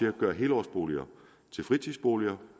at gøre helårsboliger til fritidsboliger